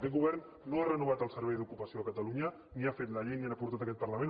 aquest govern no ha renovat el servei d’ocupació de catalunya ni ha fet la llei ni l’ha portat a aquest par·lament